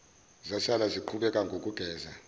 zasala ziqhubeka nokugeza